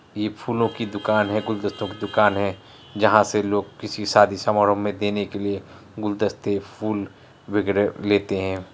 ई फूलों की दुकान है गुलदस्तों की दुकान है जहा से लोग किसी शादी समारोह मे देने के लिए गुलदस्ते फूल वैगेरे लेते है।